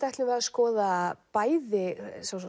ætlum að skoða bæði